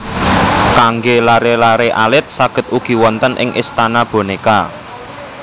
Kanggé laré laré alit saged ugi wonten ing Istana Bonéka